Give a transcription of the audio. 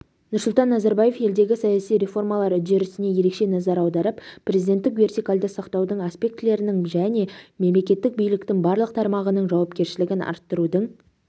нұрсұлтан назарбаев елдегі саяси реформалар үдерісіне ерекше назар аударып президенттік вертикальді сақтаудың аспектілерінің және мемлекеттік биліктің барлық тармағының жауапкершілігін арттырудың